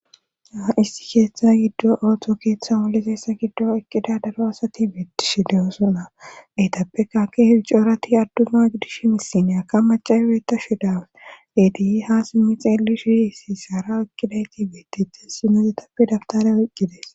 Issi keeththa giddo awto keeththa woli seessa giddo eqqida daro asati beetti sh dewosona etappekaake heicoorati adduna gidish misineyakka macabeeta shi dau dediyi ha simmi xeeli shi isi saara eqqidayti beettite sino yetappe daftare wiqqides.